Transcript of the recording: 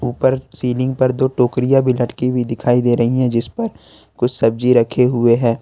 ऊपर सीलिंग पर दो टोकरियां भी लटकी हुई दिखाई दे रही है जिस पर कुछ सब्जी रखे हुए हैं।